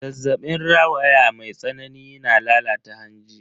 Zazzabin rawaya mai tsanani na lalata hanji.